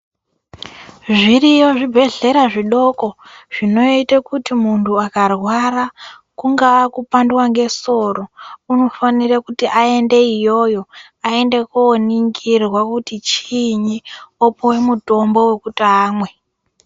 Zviriyo zvibhedhlera zvidoko zvinoite kuti muntu akarwara kungava kupandwa ngesoro unofanire kuti aende iyoyo aende koningirwa kuti chiini opuwe mutombo wokuti amwe.